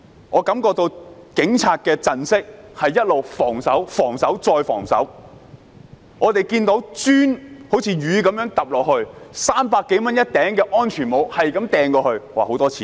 我感覺警察的陣式一直是防守、防守、再防守，我們看到磚頭如雨灑下，每頂300多元的安全帽不斷擲向警方——那涉及很多錢。